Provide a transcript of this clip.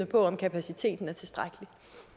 på om kapaciteten er tilstrækkelig